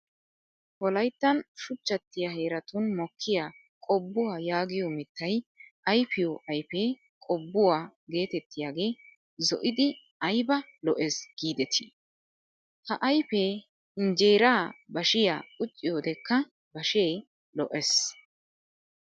Wolayittan shuchchattiyaa heeratun mokkiyaa qobbuwaa yaagiyoo mittayi ayipiyoo ayipee qobbuwaa getettiyaagee zo'idi ayiba lo'es giideti. Ha ayipee injjeeraa bashiyaa qucciyodekaa bashee lo''es.